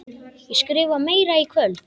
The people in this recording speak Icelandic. Ég skrifa meira í kvöld.